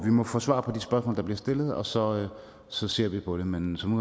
vi må få svar på de spørgsmål der bliver stillet og så så ser vi på det men som